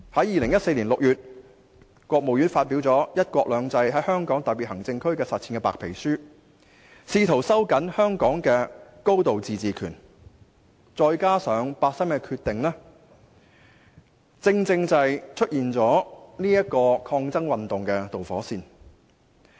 2014年6月，國務院發表《"一國兩制"在香港特別行政區的實踐》白皮書，試圖收緊香港的高度自治權，而八三一的決定，便成為出現抗爭運動的導火線。